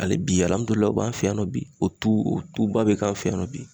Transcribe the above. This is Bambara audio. Ali bi alamudulayi o b'an fɛ yan nɔ bi o tu o tubabu bɛ k'an fɛ yan nɔ bi